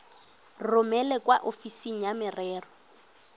romele kwa ofising ya merero